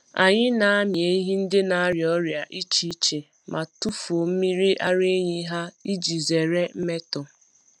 Anyị na-amị ehi ndị na-arịa ọrịa iche iche ma tufuo mmiri ara ehi ha iji zere mmetọ.